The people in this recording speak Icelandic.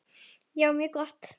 Já, mjög gott.